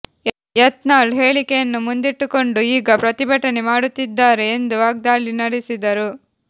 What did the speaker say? ಯತ್ನಾಳ್ ಹೇಳಿಕೆಯನ್ನು ಮುಂದಿಟ್ಟುಕೊಂಡು ಈಗ ಪ್ರತಿಭಟನೆ ಮಾಡುತ್ತಿದ್ದಾರೆ ಎಂದು ವಾಗ್ದಾಳಿ ನಡೆಸಿದರು